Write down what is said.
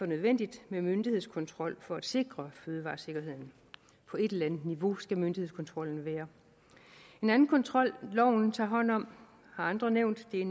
nødvendigt med myndighedskontrol for at sikre fødevaresikkerheden på et eller andet niveau skal myndighedskontrollen være en anden kontrol loven tager hånd om har andre nævnt er